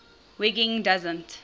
wiggin doesn t